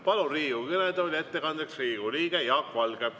Palun ettekandeks Riigikogu kõnetooli Riigikogu liikme Jaak Valge.